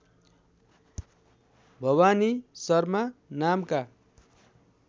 भवानी शर्मा नामका